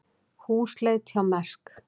Húsleit hjá Mærsk